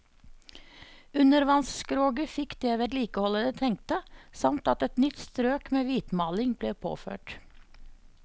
Undervannsskroget fikk det vedlikeholdet det trengte, samt at et nytt strøk med hvitmaling ble påført.